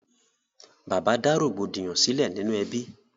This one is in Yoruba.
Bàbá dá rògbòdìyàn sílẹ̀ nínú ẹbí.